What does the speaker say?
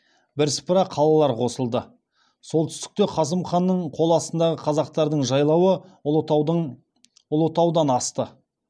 бірсыпыра қалалар қосылды солтүстікте қасым ханның қол астындағы қазақтардың жайлауы ұлытаудан асты